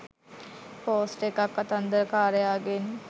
post එකක් කතන්දරකාරයාගෙන්